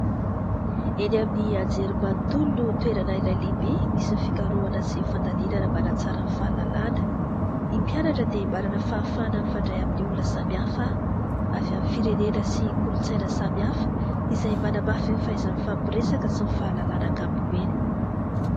Eny amin'ny anjerimanontolo no toerana iray lehibe misy ny fikarohana sy fandalinana mba hanatsara ny fahalalàna. Ny mpianatra dia manana fahafahana mifandray amin'ny olona samihafa avy amin'ny firenena sy kolontsaina samihafa izay manamafy ny fahaiza-mifampiresaka sy ny fahalalàna ankapobeny.